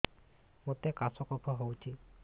ମୋତେ କାଶ କଫ ହଉଚି